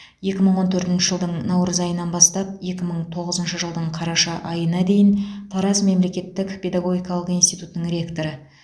екі мың он төртінші жылдың наурыз айынан бастап екі мың тоғызыншы жылдың қараша айына дейін тараз мемлекеттік педагогикалық институтының ректоры